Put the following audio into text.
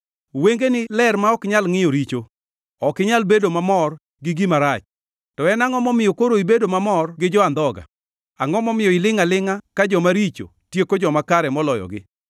Wengeni ler ma ok nyal ngʼiyo richo, ok inyal bedo mamor gi gima rach. To en angʼo momiyo koro ibedo mamor gi jo-andhoga? Angʼo momiyo ilingʼ alingʼa ka jomaricho, tieko joma kare moloyogi?